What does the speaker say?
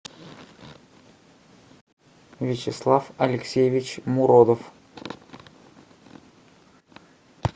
вячеслав алексеевич муродов